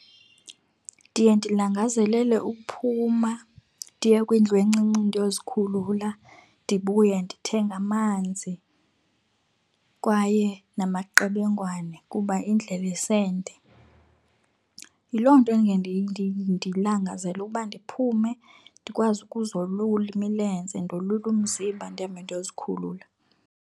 Ndiye ndilangazelele ukuphuma ndiye kwindlu encinci ndiyozikhulula. Ndibuye ndithenge amanzi kwaye namaqebengwane kuba indlela isende. Yiloo nto ndilangazela ukuba ndiphume ndikwazi ukuzolula imilenze, ndolule umzimba, ndihambe ndiyozikhulula.